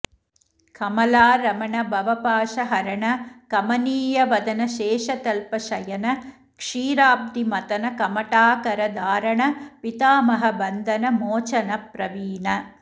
कमलारमण भवपाशहरण कमनीयवदन शेषतल्प शयन क्षीराब्धिमथन कमठाकार धारण पितामह बन्धन मोचनप्रवीण